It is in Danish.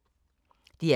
DR K